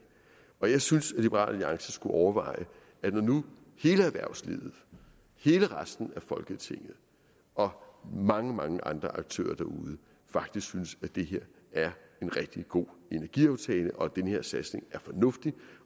og jeg synes at liberal alliance skulle overveje når nu hele erhvervslivet hele resten af folketinget og mange mange andre aktører derude faktisk synes at det her er en rigtig god energiaftale og at den her satsning er fornuftig